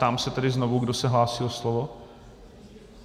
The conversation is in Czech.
Ptám se tedy znovu, kdo se hlásí o slovo?